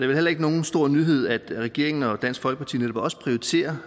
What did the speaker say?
vel heller ikke nogen stor nyhed at regeringen og dansk folkeparti netop også prioriterer